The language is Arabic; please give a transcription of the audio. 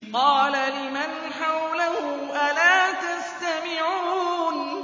قَالَ لِمَنْ حَوْلَهُ أَلَا تَسْتَمِعُونَ